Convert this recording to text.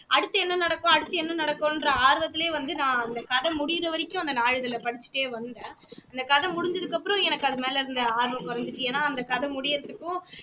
அடுத்து என்ன நடக்கும் அடுத்து என்ன நடக்குன்ற ஆர்வத்துலயே வந்து நான் அந்த கதை முடியுறவரைக்கும் அம்த நாளிதழை படிச்சுட்டே வந்தேன் அந்த கதை முடிஞ்சதுக்கு அப்புறம் எனக்கு அதுமேல இருந்த ஆர்வம் குறஞ்சுச்சு ஏன்னா அந்த கதை முடியறதுக்கும்